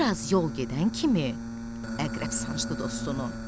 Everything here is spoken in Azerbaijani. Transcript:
Bir az yol gedən kimi, əqrəb sancdı dostunu.